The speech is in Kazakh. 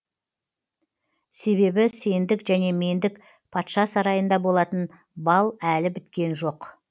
себебі сендік және мендік патша сарайында болатын балл әлі біткен жоқ